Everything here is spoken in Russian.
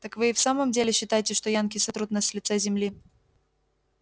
так вы и в самом деле считаете что янки сотрут нас с лица земли